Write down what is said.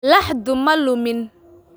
Laxdu ma lumin